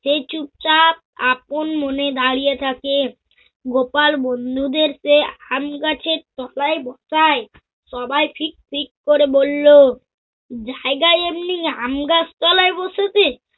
সেই চুপচাপ আপন মনে দাঁড়িয়ে থাকে। গোপাল বন্ধুদের চেয়ে আমগাছের তলায় বসায় সবায় ফিট ফিট করে বলল, জায়গায় এমনি আমগাছ তলায় বসেছে।